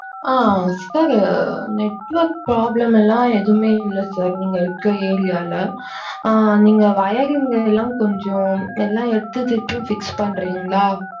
ஆஹ் sir network problem லாம் எதுவுமே இல்ல sir நீங்க இருக்கிற area ல ஆஹ் நீங்க wiring லாம் கொஞ்சம் எல்லாம் எடுத்து திருப்பியும் fix பன்றீங்களா.